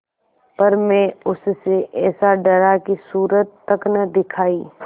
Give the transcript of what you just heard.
पर मैं उससे ऐसा डरा कि सूरत तक न दिखायी